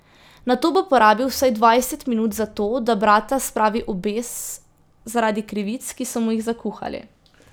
Nato bo porabil vsaj dvajset minut za to, da brata spravi v bes zaradi krivic, ki so mu jih zakuhali.